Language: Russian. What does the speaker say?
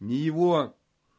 ни его